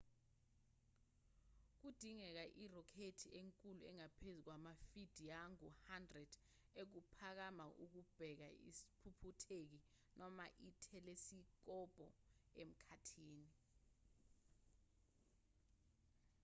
kudingeka irokhethi enkulu engaphezu kwamafidiangu-100 ukuphakama ukubeka isiphuphutheki noma ithelisikobho emkhathini